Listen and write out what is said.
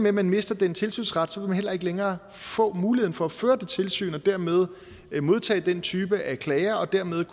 at man mister den tilsynsret vil man heller ikke længere få muligheden for at føre det tilsyn og dermed modtage den type af klager og dermed